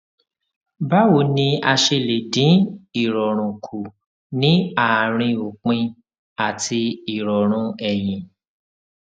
báwo ni a ṣe lè dín ìròrùn kù ní àárín òpin àti ìròrùn ẹyin